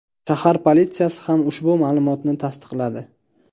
Shahar politsiyasi ham ushbu ma’lumotni tasdiqladi.